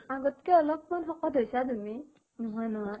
আগত্কে অলপ মান শকত হৈছা তুমি, নোহোৱা নহয়।